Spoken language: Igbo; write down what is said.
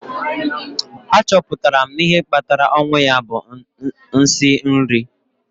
a chọpụtara na ihe kpatara ọnwụ ya bụ nsị nri